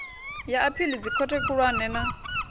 ya aphili dzikhothe khulwane na